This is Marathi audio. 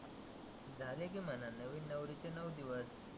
झाले की म्हणा नविन नवरीचे नऊ दिवस.